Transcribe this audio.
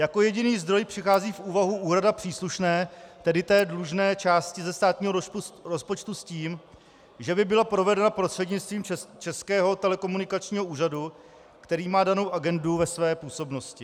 Jako jediný zdroj přichází v úvahu úhrada příslušné, tedy té dlužné částky ze státního rozpočtu, s tím, že by byla provedena prostřednictvím Českého telekomunikačního úřadu, který má danou agendu ve své působnosti.